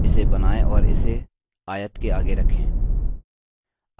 इसे बनाएँ और इसे आयत के आगे रखें